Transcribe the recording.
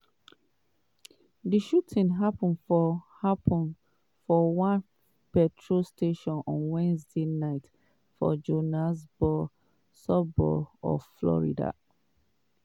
di shooting happun for happun for one petrol station on wednesday night for johannesburg suburb of florida.